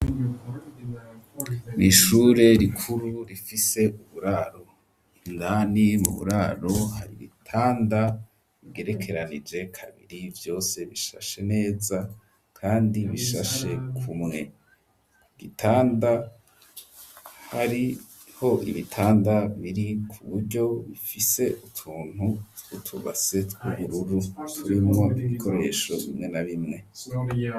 Ishure rikuru rifise uburaro indani mu buraro hari ibitanda bigerekeranije kabiri vyose bishashe neza kandi bishashe kumwe ibitanda hariho ibitanda biri ku buryo bifise utuntu twutu base twu bururu turimwo ibikoresho bimwe na bimwe.